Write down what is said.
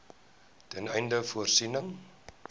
ten einde voorsiening